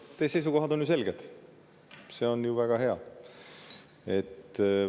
Teie seisukohad on ju selged, see on väga hea.